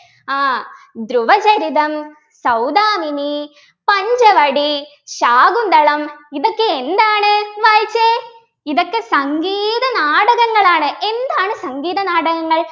ആഹ് ധ്രുവചരിതം സൌദാമിനി പഞ്ചവടി ശാകുന്തളം ഇതൊക്കെ എന്താണ് വായിച്ചേ ഇതൊക്കെ സംഗീത നാടകങ്ങളാണ് എന്താണ് സംഗീത നാടകങ്ങൾ